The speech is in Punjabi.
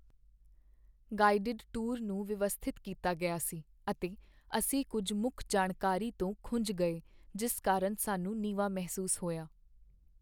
ਗਾਈਡਡ ਟੂਰ ਨੂੰ ਵਿਵਸਥਿਤ ਕੀਤਾ ਗਿਆ ਸੀ, ਅਤੇ ਅਸੀਂ ਕੁੱਝ ਮੁੱਖ ਜਾਣਕਾਰੀ ਤੋਂ ਖੁੰਝ ਗਏ ਜਿਸ ਕਾਰਨ ਸਾਨੂੰ ਨੀਵਾਂ ਮਹਿਸੂਸ ਹੋਇਆ।